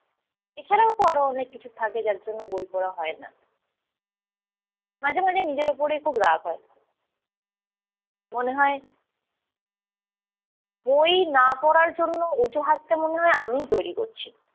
এছাড়াও তো অনেক কিছু থাকে যার জন্য বই পড়া হয় না। মাঝে মাঝে নিজের ওপরই খুব রাগ হয়। মনে হয়, বই না পড়ার জন্য অজুহাতটা মনে হয় আমিই তৈরী করছি।